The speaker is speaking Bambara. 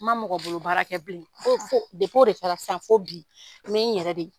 N ma mɔgɔ bolo baara kɛ bilen fo fo o de kɛra fo bi n bɛ n yɛrɛ de ye